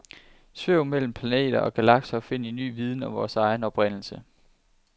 Svæv mellem planeter og galakser og find ny viden om vores egen oprindelse.